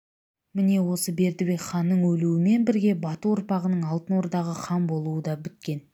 міне осы бердібек ханның өлуімен бірге бату ұрпағының алтын ордаға хан болуы да біткен